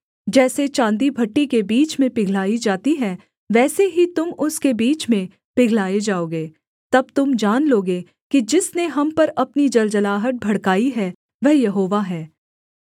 जैसे चाँदी भट्ठी के बीच में पिघलाई जाती है वैसे ही तुम उसके बीच में पिघलाए जाओगे तब तुम जान लोगे कि जिसने हम पर अपनी जलजलाहट भड़काई है वह यहोवा है